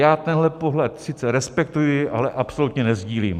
Já tenhle pohled sice respektuji, ale absolutně nesdílím.